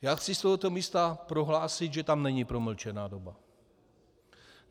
Já chci z tohoto místa prohlásit, že tam není promlčená doba.